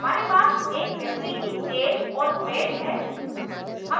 हमारे पास एक व्यक्ति की ऐज और weight है